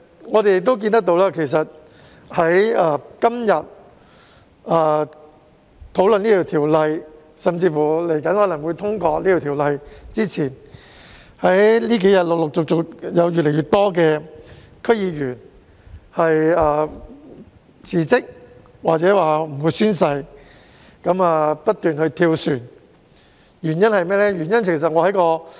我們亦看到，在今天討論這項《條例草案》，甚至《條例草案》很有可能獲通過前，近日陸續有越來越多區議員辭職或表明不會宣誓，不斷"跳船"，原因為何？